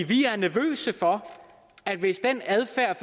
de er nervøse for at hvis den adfærd